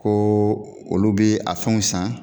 Koo olu be a fɛnw san